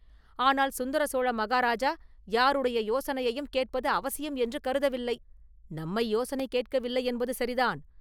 ஆனால் சுந்தர சோழ மகாராஜா யாருடைய யோசனையையும் கேட்பது அவசியம் என்று கருதவில்லை..” “நம்மை யோசனை கேட்கவில்லையென்பது சரிதான்.